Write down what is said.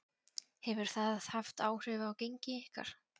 Hefur það haft áhrif á gengi ykkar?